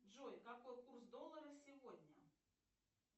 джой какой курс доллара сегодня